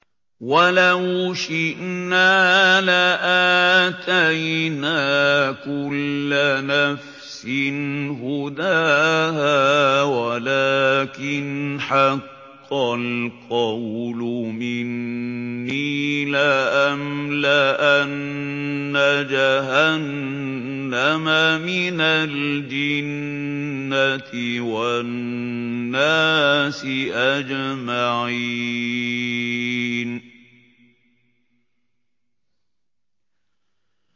وَلَوْ شِئْنَا لَآتَيْنَا كُلَّ نَفْسٍ هُدَاهَا وَلَٰكِنْ حَقَّ الْقَوْلُ مِنِّي لَأَمْلَأَنَّ جَهَنَّمَ مِنَ الْجِنَّةِ وَالنَّاسِ أَجْمَعِينَ